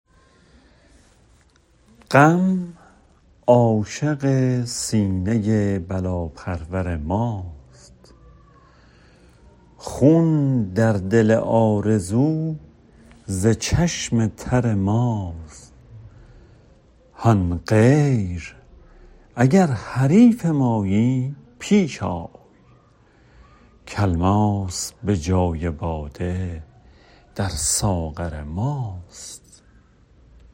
غم عاشق سینه بلاپرور ماست خون در دل آرزو ز چشم تر ماست هان غیر اگر حریف مایی پیش آی که الماس به جای باده در ساغر ماست